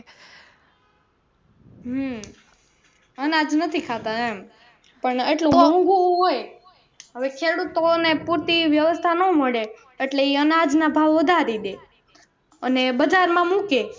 હમ અનાજ નથી ખાતા એમ પણ એટલું મોંઘુ હોય હવે ખેડૂતો ને પૂરતી વ્યવસ્થા ન મળે એટલે એ અનાજ ભાવ વધારી દે અને બજાર માં મૂકે.